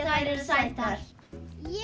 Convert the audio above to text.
þær eru sætar ég